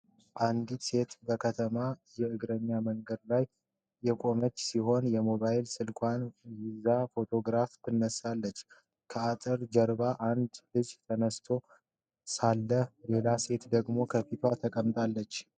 አንዲት ሴት በከተማ የእግረኛ መንገድ ላይ የቆመች ሲሆን፣ የሞባይል ስልኳን ይዛ ፎቶግራፍ ታነሳለች። ከአጥር ጀርባ አንድ ልጅ ተኝቶ ሳለ፣ ሌላ ሴት ደግሞ ከፊት ተቀምጣለች።